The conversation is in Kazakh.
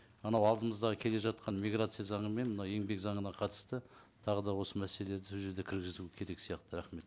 анау алдымыздағы келе жатқан миграция заңы мен мына еңбек заңына қатысты тағы да осы мәселелерді сол жерде кіргізуі керек сияқты рахмет